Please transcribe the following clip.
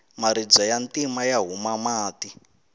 maribye ya ntima ya huma mati